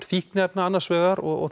fíkniefnum annars vegar og